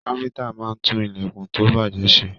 Káfíntà máa n tún ilẹkùn to bajẹ ṣe.